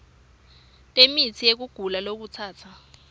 temitsi yekugula lokutsatsa